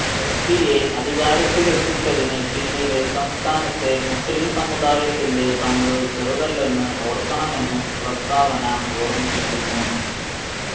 S പിയെ അധികാരത്തിലെത്തിച്ചതിന് പിന്നില് സംസ്ഥാനത്തെ മുസ്ലിം സമുദായത്തിന്റെ പങ്ക് ചെറുതല്ലെന്ന് ഓര്ക്കണമെന്നും പ്രസ്താവന ഓര്മിപ്പിക്കുന്നു